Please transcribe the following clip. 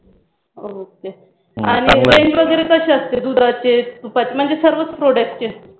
ok आणि Range वगैरे कशी असते दुधाचे, तुपाचे म्हणजेच सर्वच Product चे